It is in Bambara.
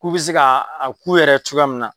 K'u bɛ se ka a k'u yɛrɛ ye cogoya min na